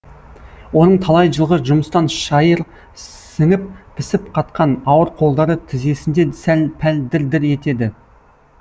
оның талай жылғы жұмыстан шайыр сіңіп пісіп қатқан ауыр қолдары тізесінде сәл пәл дір дір етеді